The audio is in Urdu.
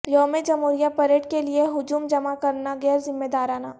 یوم جمہوریہ پریڈ کیلئے ہجوم جمع کرنا غیرذمہ دارانہ